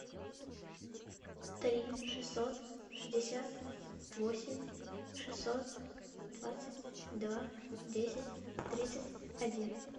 три шестьсот шестьдесят восемь шестьсот двадцать два десять тридцать один